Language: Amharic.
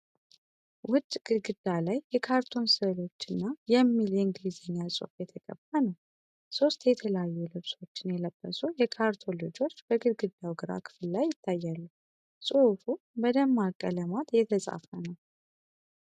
ውጭ ግድግዳ ላይ የካርቱን ስዕሎች እና “Play, Learn and Grow... Together!” የሚል የእንግሊዝኛ ጽሑፍ የተቀባ ነው። ሦስት የተለያዩ ልብሶችን የለበሱ የካርቱን ልጆች በግድግዳው ግራ ክፍል ላይ ይታያሉ። ጽሑፉ በደማቅ ቀለማት የተጻፈ ነው፡፡